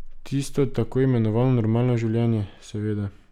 Tisto tako imenovano normalno življenje, seveda.